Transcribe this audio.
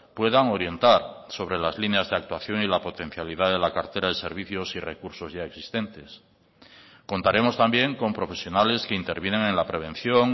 puedan orientar sobre las líneas de actuación y la potencialidad de la cartera de servicios y recursos ya existentes contaremos también con profesionales que intervienen en la prevención